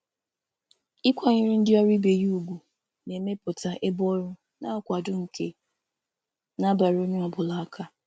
Ịsọpụrụ ndị ọrụ ibe na-emepụta ọnọdụ ọrụ na-akwado nke na-abara onye ọ bụla uru.